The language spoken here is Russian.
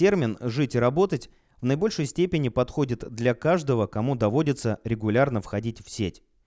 термин жить и работать в наибольшей степени подходит для каждого кому доводится регулярно входить в сеть